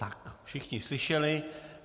Tak, všichni slyšeli.